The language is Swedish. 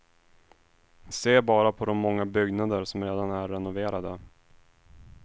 Se bara på de många byggnader som redan är renoverade.